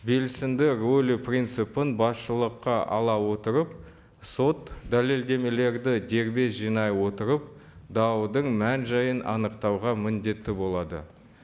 белсенді рөлі принципін басшылыққа ала отырып сот дәлелдемелерді дербес жинай отырып даудың мән жайын анықтауға міндетті болады